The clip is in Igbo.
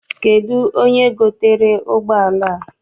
Kedụ onye gotere ụgbọala a?